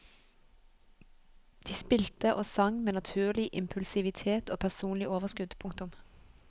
De spilte og sang med naturlig impulsivitet og personlig overskudd. punktum